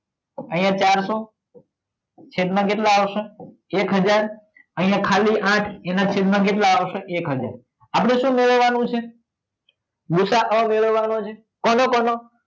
અહીંયા ચારસો છેદ માં કેટલા આવશે હજાર અહીંયા ખાલી આઠ છેદમાં કેટલા આવશે? એક હજાર આપણે શું મેળવવાનું છે ભૂસાઅ મેળવવાનો છે કોનો